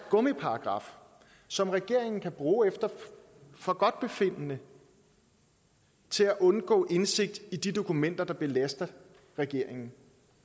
gummiparagraf som regeringen kan bruge efter forgodtbefindende til at undgå indsigt i de dokumenter der belaster regeringen